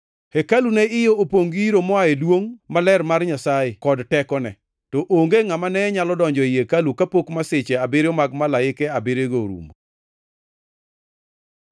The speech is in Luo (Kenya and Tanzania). Hekalu ne iye opongʼ gi iro moa e duongʼ maler mar Nyasaye kod tekone. To onge ngʼama ne nyalo donjo ei hekalu kapok masiche abiriyo mag malaike abiriyogo orumo.